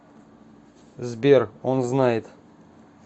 сбер он знает